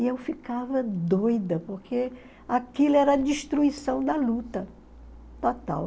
E eu ficava doida, porque aquilo era a destruição da luta total.